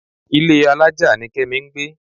Ilé alájà ni Kẹ́mi ń gbé.